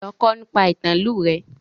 Lọ kọ́ nípa ìtàn ìlú rẹ!